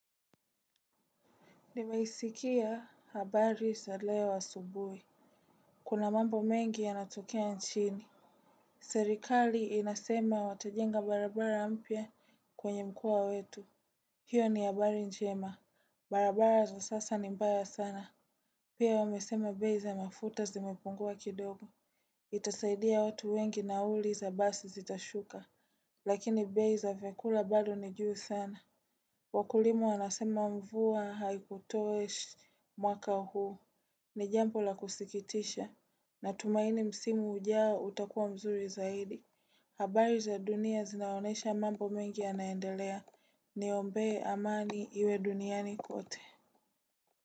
Nimeisikia habari za leo asubuhi. Kuna mambo mengi yanatokea nchini. Serikali inasema watajenga barabara mpya kwenye mkoa wetu. Hiyo ni habari njema. Barabara za sasa ni mbaya sana. Pia wamesema bei za mafuta zimepungua kidogo. Itasaidia watu wengi nauli za basi zitashuka. Lakini bei za vyakula bado ni juu sana. Wakulima wanasema mvua haikutosha mwaka huu ni jambo la kusikitisha natumaini msimu ujao utakuwa mzuri zaidi. Habari za dunia zinaonesha mambo mengi yanaendelea niombee amani iwe duniani kote.